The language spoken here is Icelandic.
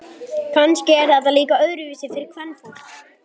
Kannski er þetta líka öðruvísi fyrir kvenfólk.